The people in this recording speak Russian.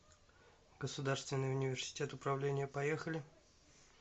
государственный университет управления поехали